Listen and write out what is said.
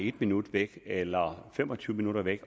en minut væk eller fem og tyve minutter væk